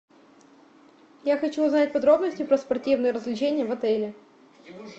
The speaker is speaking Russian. я хочу узнать подробности про спортивные развлечения в отеле